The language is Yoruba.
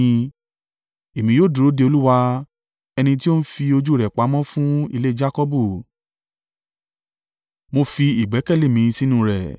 Èmi yóò dúró de Olúwa, ẹni tí ó ń fi ojú rẹ̀ pamọ́ fún ilé Jakọbu. Mo fi ìgbẹ́kẹ̀lé mi sínú rẹ.